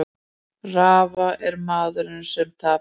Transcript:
Rafa er maðurinn sem tapaði